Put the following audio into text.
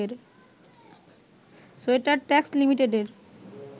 sweater tax লিমিটেডের